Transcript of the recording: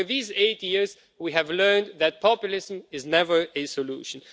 Over these eight years, we have learned that populism is never a solution.